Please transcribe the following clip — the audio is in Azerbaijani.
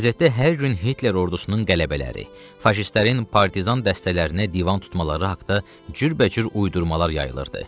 Qəzetdə hər gün Hitler ordusunun qələbələri, faşistlərin partizan dəstələrinə divan tutmaları haqda cürbəcür uydurmalar yayılırdı.